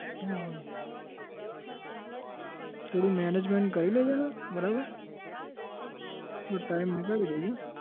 હા થોડું management કરી લેજેને બરાબર થોડો time નીકાળી દેજે.